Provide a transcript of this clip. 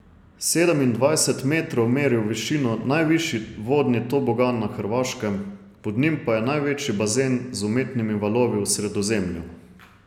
Sedemindvajset metrov meri v višino najvišji vodni tobogan na Hrvaškem, pod njim pa je največji bazen z umetnimi valovi v Sredozemlju.